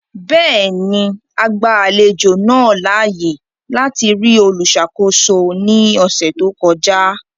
Bẹẹni, a gba alejo naa laaye lati ri oluṣakoso ni ọsẹ to kọja.